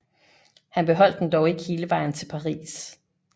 Han beholdt den dog ikke hele vejen til Paris